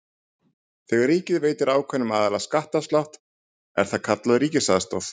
Þegar ríkið veitir ákveðnum aðilum skattaafslátt er það kallað ríkisaðstoð.